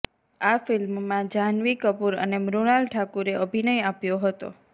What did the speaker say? આ ફિલ્મમાં જહાન્વી કપુર અને મૃણાલ ઠાકુરે અભિનય આપ્યો હતો